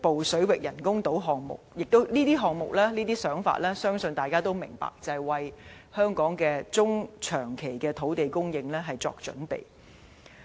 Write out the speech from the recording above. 相信大家也明白，這些項目和想法就是想為香港的中長期土地供應作準備。